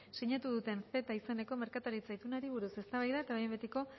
sinatu duten ceta izeneko merkataritza itunari buruz eztabaida eta behin betiko